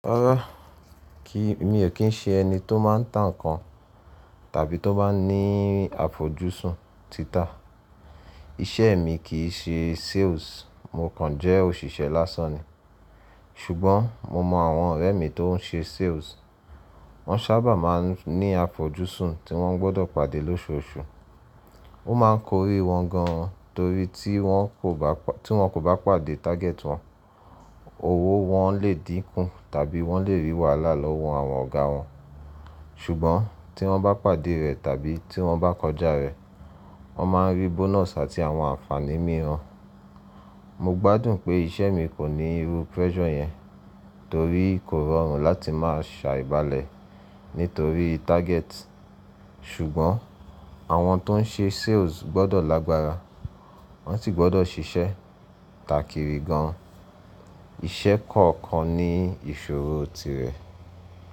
Rárá, kí mi ò kí ń ṣe ẹni tó máa ń tàn ǹkan tàbí tó bá ní àfojúsùn títà. Iṣẹ́ mi kì í ṣe sales, mo kàn jẹ́ òṣìṣẹ́ lásán ni. Ṣùgbọ́n mo mọ àwọn ọ̀rẹ́ mi tó ń ṣe sales, wọ́n sábà máa ń ní àfojúsùn tí wọ́n gbọ́dọ̀ pàdé lóṣooṣù. Ó máa ń korí wọn gan torí tí wọn kò bá pàdé target wọn, owó wọn le dínkù tàbí wọ́n le rí wàhálà lọ́wọ́ àwọn ọ̀gá wọn. Ṣùgbọ́n tí wọ́n bá pàdé rẹ̀ tàbí tí wọ́n bá kọjá rẹ̀, wọ́n máa ń rí bonus àti àwọn ànfàní mìíràn. Mo gbádùn pé isẹ́ mi kò ní irú pressure yẹn torí kò rọrùn láti máa ṣàìbalẹ̀ nítorí target. Ṣùgbọ́n àwọn tó ń ṣe sales gbọ́dọ̀ lágbára, wọ́n sì gbọ́dọ̀ ṣiṣẹ́ tàkìrí gan an. Iṣẹ́ kọ̀ọ̀kan ní ìṣòro tirẹ̀.